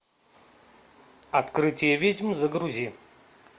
открытие ведьм загрузи